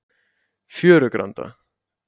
Fjörugranda